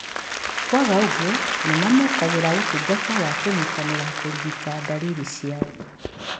Kwaga ũguo, nĩmamũkagĩra ũtungata wa kũnyitĩrĩra kũrigita ndariri ciao